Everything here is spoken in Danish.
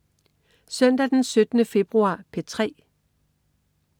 Søndag den 17. februar - P3: